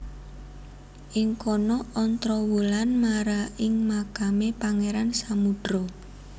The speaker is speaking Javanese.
Ing kono Ontrowulan mara ing makame Pangeran Samudro